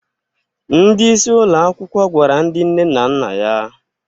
Ndị isi ụlọ akwụkwọ gwara ndị nne na nna ya